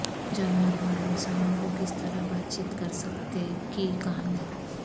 جانوروں اور انسانوں کو کس طرح بات چیت کر سکتے کی کہانی